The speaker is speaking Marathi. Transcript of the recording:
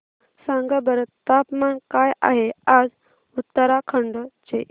सांगा बरं तापमान काय आहे आज उत्तराखंड चे